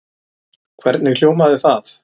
Hvernig hljómaði það?